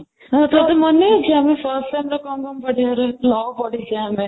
ହଁ, ତୋତେ ମନେଅଛି ଆମେ fast SEM କ'ଣ କ'ଣ ପଢ଼ିବାର law ପଢ଼ିଛେ ଆମେ